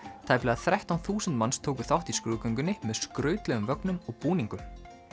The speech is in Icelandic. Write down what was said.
tæplega þrettán þúsund manns tóku þátt í skrúðgöngunni með skrautlegum vögnum og búningum